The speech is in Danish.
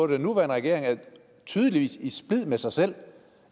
den nuværende regering er tydeligvis i splid med sig selv